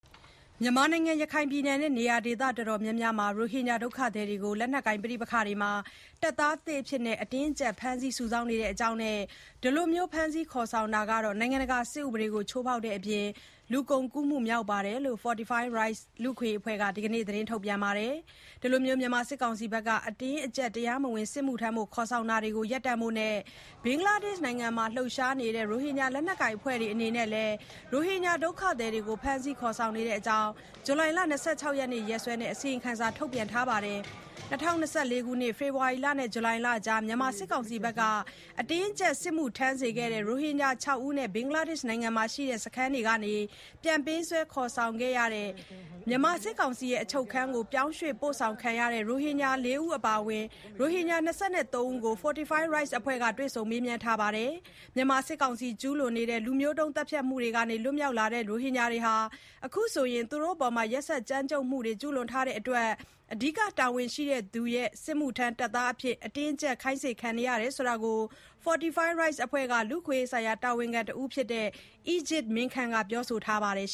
မြန်မာနိုင်ငံ အနောက်ပိုင်း ရခိုင်ပြည်နယ်နဲ့ နေရာဒေသတော်တော်များများမှာ ရိုဟင်ဂျာ ဒုက္ခသည်တွေကို လက်နက်ကိုင် တိုက်ပွဲတွေမှာ တပ်သားသစ်အဖြစ် အတင်းအကျပ် ဖမ်းဆီးစုဆောင်းနေတဲ့အကြောင်းနဲ့ ဒီလို ဖမ်းဆီးခေါ်ဆောင်တာဟာ နိုင်ငံတကာ စစ်ဥပဒေကို ချိုးဖေါက်တဲ့အပြင် လူကုန်ကူးမှု မြောက်တဲ့အကြောင်း Fortify Rights လူ့အခွင့်အရေးအဖွဲ့က ဒီနေ့ သတင်းထုတ်ပြန်ပါတယ်။ မြန်မာစစ်ကောင်စီရဲ့ တရားမဝင် အတင်းအကျပ် စစ်မှုထမ်းခေါ်ဆောင်တာတွေ ရပ်တန့်ဖို့လိုအပ်ကြောင်း၊ ဘင်္ဂလားဒေ့ရှ်နိုင်ငံမှာ လှုပ်ရှားနေတဲ့ ရိုဟင်ဂျာ လက်နက်ကိုင် အဖွဲ့တွေအနေနဲ့လည်း ရိုဟင်ဂျာ ဒုက္ခသည်တွေကို ဖမ်ဆီးခေါ်ဆောင်နေတဲ့အကြောင်း ဇူလိုင် ၂၆ ရက်စွဲနဲ့ အစီရင်ခံစာ ထုတ်ပြန်ထားတာပါ။ ၂၀၂၄ ခုနှစ်၊ ဖေဖော်ဝါရီလနဲ့ ဇူလိုင်လကြား မြန်မာစစ်ကောင်စီတပ်က အတင်းအကျပ် စစ်မှုထမ်းစေခဲ့တဲ့ ရိုဟင်ဂျာ ခြောက်ဦးနဲ့ ဘင်္ဂလားဒေ့ရှ် နိုင်ငံမှာရှိတဲ့ စခန်းတွေက ပြန်ပေးဆွဲ ခေါ်ဆောင်ခံခဲ့ရတဲ့ မြန်မာစစ်ကောင်စီရဲ့ အချုပ်ခန်းကို ပြောင်းရွေ့ ပို့ဆောင်ခံခဲ့ရတဲ့ ရိုဟင်ဂျာ ၄ ဦး အပါအဝင် ရိုဟင်ဂျာ ၂၃ ဦးကို Fortify Rights အဖွဲ့က တွေ့ဆုံမေးမြန်းထားပါတယ်။ မြန်မာစစ်ကောင်စီ ကျူးလွန်တဲ့ လူမျိုးတုံးသတ်ဖြတ်နေမှုကနေ လွတ်မြောက်လာတဲ့ ရိုဟင်ဂျာတွေဟာ အခုဆိုရင် သူတို့အပေါ် ရက်စက်ကြမ်းကြုတ်မှုတွေ ကျူးလွန်ထားတာတွေအတွက် အဓိက တာဝန်ရှိသူတွေရဲ့ စစ်မှုထမ်းတပ်သားအဖြစ် ပါဝင်ဖို့ အတင်းအကျပ် ခိုင်းစေခံနေရတဲ့အကြောင်း Fortify Rights အဖွဲ့က လူ့အခွင့်အရေးဆိုင်ရာ တာဝန်ခံတဦးဖြစ်တဲ့ Ejaz Min Khant က ပြောဆိုပါတယ်။